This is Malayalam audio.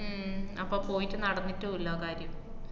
ഉം അപ്പൊ പോയിട്ട് നടന്നിട്ടൂ ഇല്ല കാര്യം.